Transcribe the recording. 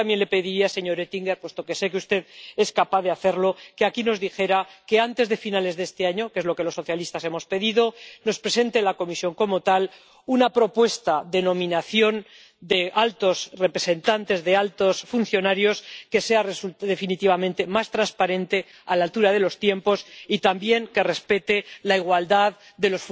Y yo también le pediría, señor Oettinger, puesto que sé que usted es capaz de hacerlo, que aquí nos dijera que, antes de finales de este año que es lo que los socialistas hemos pedido la Comisión nos presentará una propuesta de nombramiento de altos representantes, de altos funcionarios que sea definitivamente más transparente, que esté a la altura de los tiempos y también que respete la igualdad